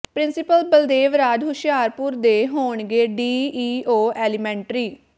principal Baldev Raj Hoshiarpur ਦੇ ਹੋਣਗੇ D E O elementary